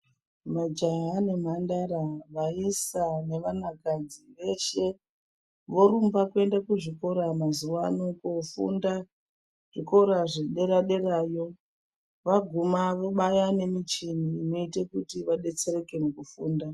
Majaha nemhandara, vaisa nevanakadzi veshe vorumbe kuenda kuzvikora mazuva anaya kofunda zvikora zvepadera derayo vaguma vobaya nemichini inoita kuti vadetsereke pakufunda .